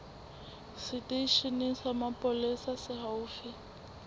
seteisheneng sa mapolesa se haufi